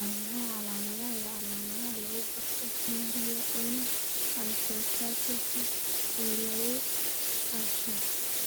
Waa maxay calaamadaha iyo calaamadaha lagu garto Marie Unna hypotrichosis ee lagu dhasho?